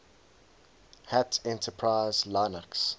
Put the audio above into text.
hat enterprise linux